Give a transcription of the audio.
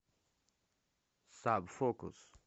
саб фокус